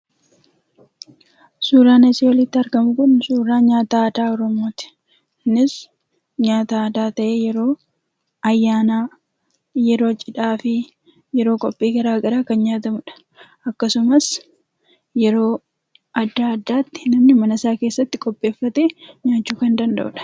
Suuraan asii olitti arginu kun suuraa nyaata aadaa oromooti. Innis nyaata aadaa ta'ee yeroo ayyaanaa yeroo cidhaafi yeroo qophii garagaraa kan nyaatamudha. Akkasumas yeroo adda addaatti namni mana isaa keessatti qopheeffatee nyaachuu kan danda'udha.